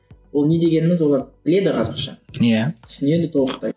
ол не дегеніміз олар біледі қазақша иә түсінеді толықтай